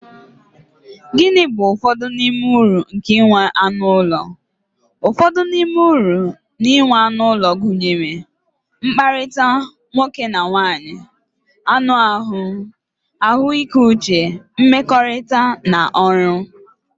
Gịnị bụ ụfọdụ n'ime uru nke inwe anụ ụlọ? Ụfọdụ n'ime uru na-enwe anụ ụlọ, gụnyere, mkpakọrịta nwoke na nwaanyị, anụ ahụ, ahụike uche, nmekorita, na ọrụ.